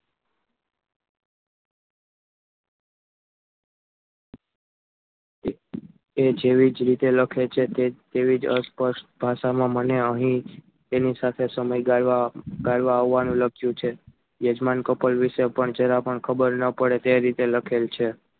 એ જેવી જ રીતે લખે છે તેવી જ અસર ભાષામાં મને અહીં જ તેની સાથે સમય ગાળવા ગાળવા આવવાનું લખ્યું છે. યજમાન કપાલ વિશે કપલ વિશે પણ જરા પણ ખબર ન પડે તે રીતે લખેલ છે.